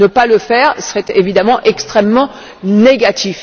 Ne pas le faire serait évidemment extrêmement négatif.